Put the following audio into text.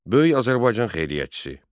Böyük Azərbaycan xeyriyyətçisi.